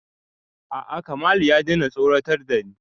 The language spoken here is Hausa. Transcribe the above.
A'a Kamalu ya daina tsoratar da ni